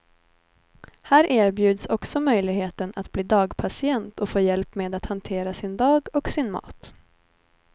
Här erbjuds också möjligheten att bli dagpatient och få hjälp med att hantera sin dag och sin mat.